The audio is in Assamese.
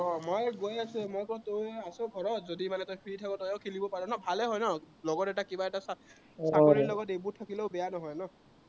মই গৈ আছো, যদি মানে তই আছ ঘৰত, যদি মানে তই free থাক, তইও খেলিব পাৰ ন, ভালেই হয় ন, লগত এটা কিবা এটা চাকৰিৰ লগত এইবোৰ থাকিলেও বেয়া নহয় ন?